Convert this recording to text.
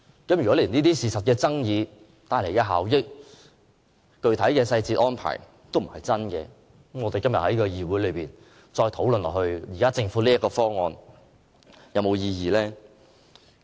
如果出現了這些事實爭議，所涉及的效益和具體細節安排並不真實，那麼今天在議會內繼續討論政府提出的方案，還有沒有意義？